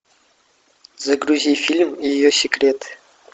загрузи фильм ее секрет